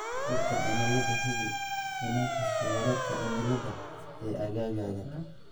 Warka Cimilada Hubi inaad hesho wararka cimilada ee aaggaaga.